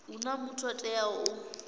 huna muthu o teaho u